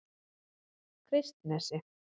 Kristnesi